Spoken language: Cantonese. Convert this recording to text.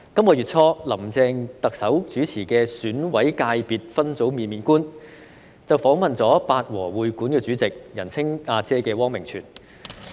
本月初，林鄭特首主持的《選委界別分組面面觀》，訪問了香港八和會館主席——人稱"阿姐"的汪明荃。